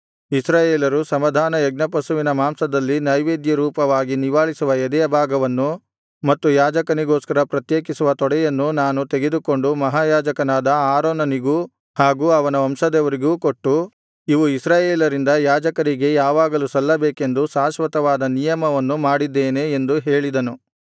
ಇಸ್ರಾಯೇಲರು ಸಮಾಧಾನಯಜ್ಞಪಶುವಿನ ಮಾಂಸದಲ್ಲಿ ನೈವೇದ್ಯರೂಪವಾಗಿ ನಿವಾಳಿಸುವ ಎದೆಯ ಭಾಗವನ್ನು ಮತ್ತು ಯಾಜಕನಿಗೋಸ್ಕರ ಪ್ರತ್ಯೇಕಿಸುವ ತೊಡೆಯನ್ನು ನಾನು ತೆಗೆದುಕೊಂಡು ಮಹಾಯಾಜಕನಾದ ಆರೋನನಿಗೂ ಹಾಗು ಅವನ ವಂಶದವರಿಗೂ ಕೊಟ್ಟು ಇವು ಇಸ್ರಾಯೇಲರಿಂದ ಯಾಜಕರಿಗೆ ಯಾವಾಗಲೂ ಸಲ್ಲಬೇಕೆಂದು ಶಾಶ್ವತವಾದ ನಿಯಮವನ್ನು ಮಾಡಿದ್ದೇನೆ ಎಂದು ಹೇಳಿದನು